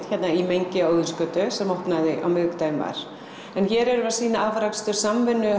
hérna í mengi á Óðinsgötu sem opnaði á miðvikudaginn var en hér erum við að sýna afrakstur samvinnu